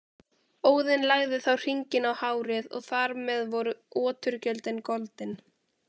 Óðinn lagði þá hringinn á hárið og þar með voru oturgjöldin goldin.